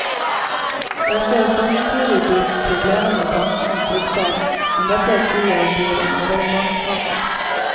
Jeg ser samtidig de problemene bransjen frykter, men dette tror jeg blir en overgangsfase.